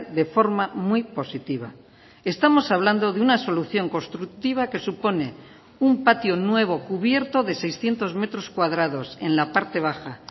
de forma muy positiva estamos hablando de una solución constructiva que supone un patio nuevo cubierto de seiscientos metros cuadrados en la parte baja